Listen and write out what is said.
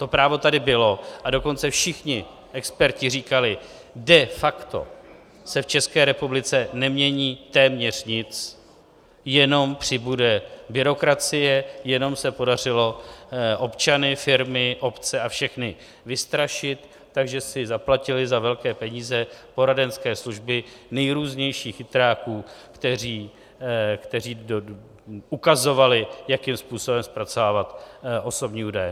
To právo tady bylo, a dokonce všichni experti říkali, de facto se v České republice nemění téměř nic, jenom přibude byrokracie, jenom se podařilo občany, firmy, obce a všechny vystrašit, takže si zaplatili za velké peníze poradenské služby nejrůznějších chytráků, kteří ukazovali, jakým způsobem zpracovávat osobní údaje.